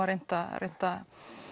reynt að reynt að